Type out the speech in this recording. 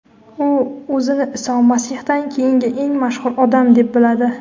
U o‘zini Iso Masihdan keyingi eng mashhur odam deb biladi.